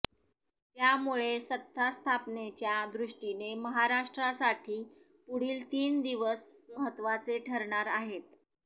त्यामुळे सत्तास्थापनेच्या दृष्टीने महाराष्ट्रासाठी पुढील तीन दिवस महत्त्वाचे ठरणार आहेत